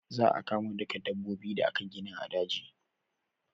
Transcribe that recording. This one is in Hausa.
Za a kama duka dabbobi da aka gani a daji